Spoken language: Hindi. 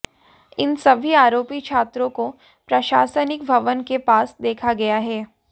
इन सभी आरोपी छात्रों को प्रशासनिक भवन के पास देखा गया है